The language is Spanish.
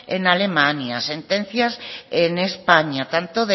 en alemania sentencias en españa tanto